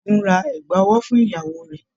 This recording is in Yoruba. Ṣẹ́gun ra ẹ̀gbà ọwọ́ fún ìyàwó rẹ̀.